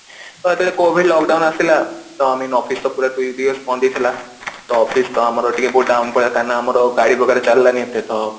ତ ଯେତେବେଳ Covid lockdown ଆସିଲା ତ I mean office ତ ପୂରାପୂରି ତ office ତ ଆମର ଟିକେ ବହୁତ down ଥିଲା କାହିଁକି ନା ଆମର ଗାଡି ବଗେରା ଚାଲିଲାନି ଏତେ ତ